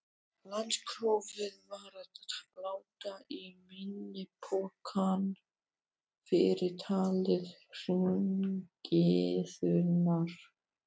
Landsprófið varð að láta í minni pokann fyrir táli hringiðunnar.